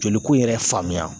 Joliko yɛrɛ faamuya.